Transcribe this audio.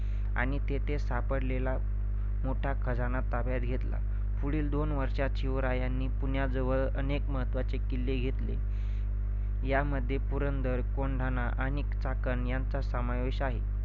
आणि तेथे सापडलेला मोठा खजाना ताब्यात घेतला. पुढील दोन वर्षांत शिवरायांनी पुण्याजवळ अनेक महत्त्वाचे किल्ले घेतले. यामध्ये पुरंधर, कोंढाणा आणि चाकण यांचा समावेश आहे.